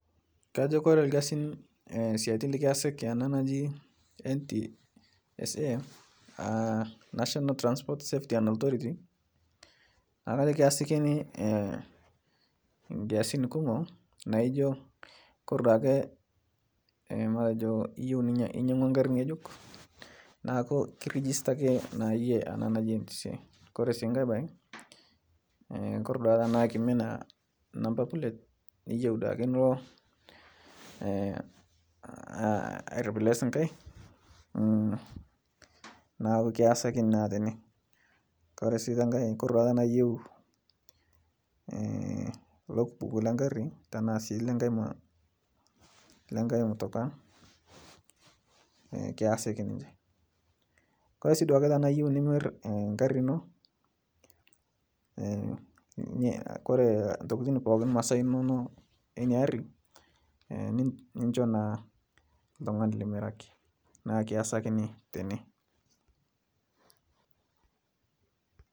Kajo kore lkazin likiasiki ana naji NTSA(national transport safety and authority) naaku kajo kiasakini kiasin kumo naijo kore duake matejo iyeu ninyang'ua nkari ng'ejuk naaku kirijistaki naa yie ana naji NTSA, Kore sii nkae bae kore duake tanaa kimina namba plet niyeu duake nilo airiples nkae naaku kiasakini naa tene kore si tenkae kore duake tanaa iyeu lokbuk lenkari tanasi tenkae mutukaa kiasiki ninche, Kore si duake tanaa iyeu nimir nkari ino kore ntokitin pooki masaa inono enia arii nichoo naa ltungani limiraki naaku kiasakini tene.